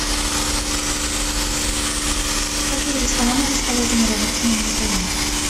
какие рестораны расположены рядом с моим отелем